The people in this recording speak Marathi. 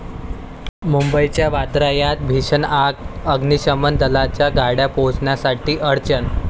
मुंबईच्या वांद्र्यात भीषण आग, अग्निशमन दलाच्या गाड्या पोहचण्यासाठी अडचण